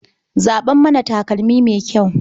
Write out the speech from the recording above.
Zaɓa mana takalmi mai kyau.